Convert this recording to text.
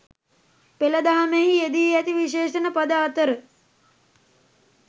පෙළ දහමෙහි යෙදී ඇති විශේෂණ පද අතර